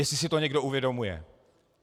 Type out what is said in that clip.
Jestli si to někdo uvědomuje.